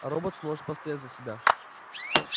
роботс может постоять за себя